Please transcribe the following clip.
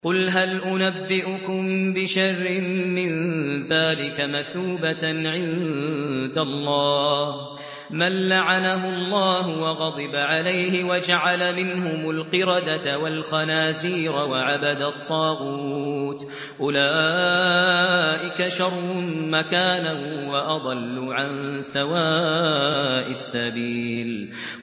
قُلْ هَلْ أُنَبِّئُكُم بِشَرٍّ مِّن ذَٰلِكَ مَثُوبَةً عِندَ اللَّهِ ۚ مَن لَّعَنَهُ اللَّهُ وَغَضِبَ عَلَيْهِ وَجَعَلَ مِنْهُمُ الْقِرَدَةَ وَالْخَنَازِيرَ وَعَبَدَ الطَّاغُوتَ ۚ أُولَٰئِكَ شَرٌّ مَّكَانًا وَأَضَلُّ عَن سَوَاءِ السَّبِيلِ